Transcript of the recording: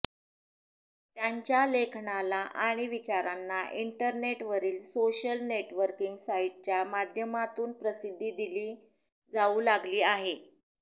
त्यांच्या लेखनाला आणि विचारांना इंटरनेटवरील सोशल नेटवर्किंग साईटच्या माध्यमातून प्रसिद्धी दिली जाऊ लागली आहे